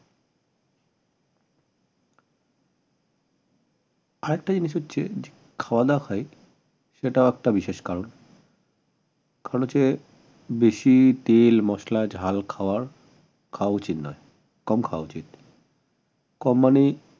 আর একটা জিনিস হচ্ছে খাওয়াদাওয়া হয় সেটাও একটা বিশেষ কারণ বেশি তেল মসলা ঝাল খাওয়ার খাওয়া উচিত নয় কমখাওয়া উচিত কম মানে